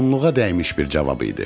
Onluğa dəymiş bir cavab idi.